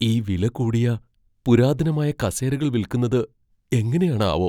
ഈ വില കൂടിയ പുരാതനമായ കസേരകൾ വിൽക്കുന്നത് എങ്ങനെയാണാവോ!